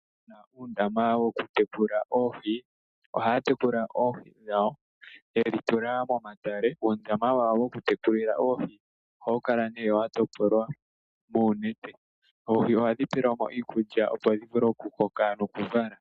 Aantu mboka yena uundama wokutekulila oohi ohaya tekula oohi dhawo yedhi tula momatale. Uundama wawo wokutekula oohi ohawu kala wa topolwa muunete. Oohi ohadhi pelwamo iikulya, opo dhi vule okukoka.